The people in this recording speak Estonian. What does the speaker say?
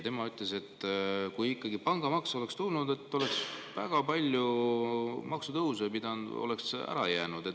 Ta ütles, et kui ikka pangamaks oleks tulnud, siis oleks väga palju maksutõuse ära jäänud.